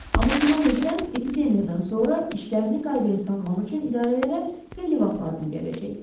Amma güman edirəm, epidemiyadan sonra işlərini qaydaya salmaq üçün idarələrə xeyli vaxt lazım gələcək.